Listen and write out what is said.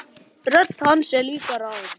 Rödd hans er líka rám.